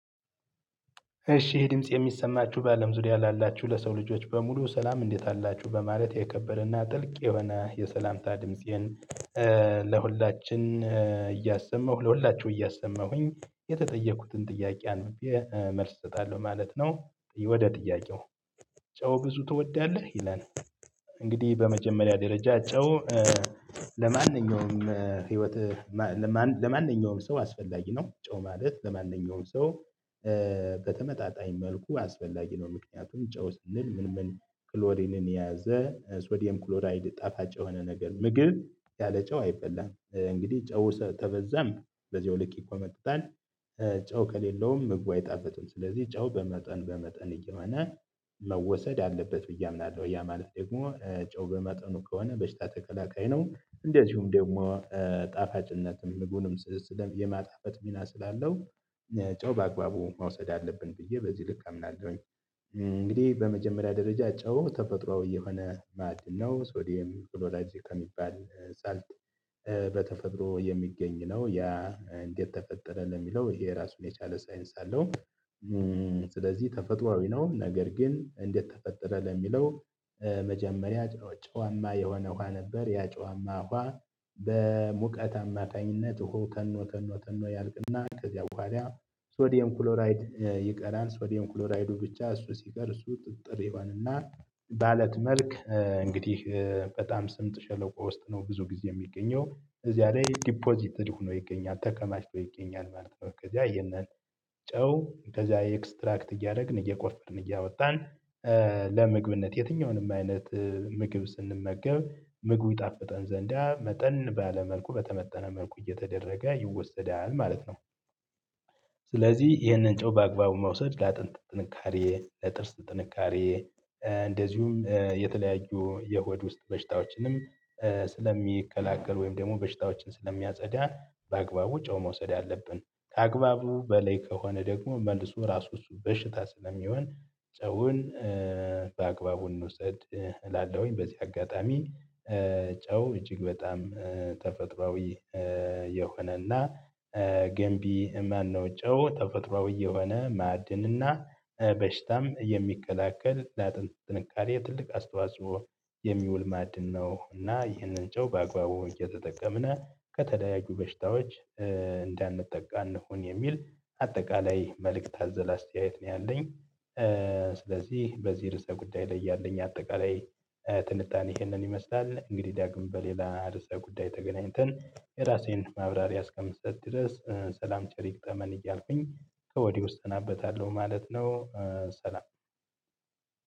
እሺ ይሄ ድምጽ የሚሰማችሁ በአለም ዙሪያ ላላችሁ ለሰው ልጆች በሙሉ ሰላም እንዴት አላችሁ በማለት የከበረና ጥልቅ የሆነ የሰላምታ ድምፄን ለሁላችን እያሰማሁ ለሁላችሁ እያሰማሁኝ የተጠየኩትን ጥያቄ አንብቤ መልስ እሰጣለሁ ማለት ነው። ወደ ጥያቄው ጨው ብዙ ትወዳለህ ይላል እንግዲህ በመጀመሪያ ደረጃ ጨው ለማንኛውም ህይወት ለማንኛውም ሰው አስፈላጊ ነው ማለት ለማንኛውም ሰው በተመጣጣኝ መልኩ አስፈላጊ ነው። ምክንያቱም ጨው ስንል ምን ምን ክሎሪንን የያዘ ሶዲየም ክሎራይድ ጣፋጭ የሆነ ነገር ምግብ ያለ ጨው አይበላም እንግዲህ ጨው ተበዛም በዚያው ልክ ይኮመጥጣል። ጨው ከሌለውም ምግቡ አይጣፍጥም ስለዚህ ጨው በመጠን በመጠኑ እየሆነ መወሰድ አለበት ብዬ አምናለሁ ያ ማለት ደግሞ ጨው በመጠኑ ከሆነ በሽታ ተከላካይ ነው እንደዚሁም ደግሞ ጣፋጭነትም ምግቡንም ስለማጣፈት ሚና ስላለው ጨው በአግባቡ መውሰድ አለብን ብዬ በዚህ ልክ አምናለሁኝ እንግዲህ በመጀመሪያ ደረጃ ጨው ተፈጥሮአዊ የሆነ ማዕድ ነው ሶዲየም ፍሎራይድ ከሚባል ስልት በተፈጥሮ የሚገኝ ነው ያ እንዴት ተፈጠረ ለሚለው ይሄ ራሱን የቻለ ሳይንስ አለው። ስለዚህ ተፈጥሮአዊ ነው ነገር ግን እንዴት ተፈጠረ ለሚለው። መጀመሪያ ጨዋማ የሆነ ውሃ ነበር ያ ጨዋማ ውሃ በሙቀት አማታኝነት እኋው ተኖ ተኖ ተኖ ያልቅና ከዚያው ኋላ ስወዲየም ክሎራይድ ይቀራል ስወዲየም ክሎራይዱ ብቻ እሱ ሲቀር እሱ ጥጥር ይሆንና ባለት መልክ እንግዲህ በጣም ስምጥ ሸለቆ ውስጥ ነው ብዙ ጊዜ የሚገኘው እዚያ ላይ ዲፖዚትድ ሆኖ ይገኛል ተከማችቶ ይገኛል ማለት ነው ከዚያ ያነን ጨው ከዚያ ኤክስትራክት እያደረግን እየቆፈርን እያወጣን ለምግብነት የትኛውንም አይነት ምግብ ስንመገብ ምግቡ ይጣፍጠን ዘንዳ መጠን ባለ መልኩ በተመጠነ መልኩ እየተደረገ ይወሰዳል ማለት ነው። ስለዚህ ይህንን ጨው በአግባቡ መውሰድ ለአጥንት ጥንካሬ ለጥርስ ጥንካሬ እንደዚሁም የተለያዩ የሆድ ውስጥ በሽታዎችንም ስለሚከላከል ወይም ደግሞ በሽታዎችን ስለሚያጸዳ በአግባቡ ጨው መውሰድ አለብን ከአግባቡ በለይ ከሆነ ደግሞ መልሱ ራሱ እሱ በሽታ ስለሚሆን ሰውን እንውሰድ ላለውኝ በዚህ አጋጣሚ ጨው እጅግ በጣም ተፈጥሮአዊ የሆነና ገንቢ ማነው ጨው ተፈጥሮአዊ የሆነ ማዕድንና በሽታም የሚከላከል ላጥንት ጥንካሬ ትልቅ አስተዋጽኦ የሚውል ማዕድን ነው እና ይህንን ጨው በአግባቡ እየተጠቀምን ከተለያዩ በሽታዎች እንዳንጠቃ እንሁን የሚል አጠቃላይ መልእክት አዘል አስተያየት ነው ያለኝ። ስለዚህ በዚህ ርዕሰ ጉዳይ ላይ ያለኝ አጠቃላይ ትንታኔ ይሄንን ይመስላል እንግዲህ ዳግም በሌላ ርዕሰ ጉዳይ ተገናኝተን የራሴን ማብራሪያ እስከምሰጥ ድረስ ሰላም ቸር ይገጠመን እያልኩኝ ከወዲሁ እሰናበታለሁ ማለት ነው። ሰላም